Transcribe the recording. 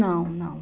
Não, não.